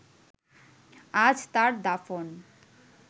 আজ তার দাফন